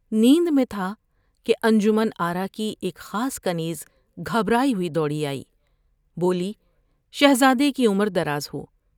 نیند میں تھا کہ انجمن آرا کی ایک خاص کنیز گھبرائی ہوئی دوڑی آئی ، بولی '' شہزادے کی عمر دراز ہو ۔